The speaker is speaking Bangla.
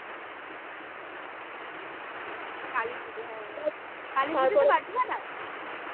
কালীপুজো হ্যাঁ কালীপুজো তে বাজি ফাটাস?